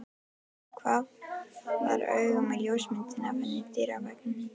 Hvarflar augunum að ljósmyndinni af henni á dyraveggnum.